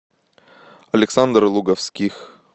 александр луговских